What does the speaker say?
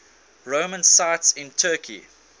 roman sites in turkey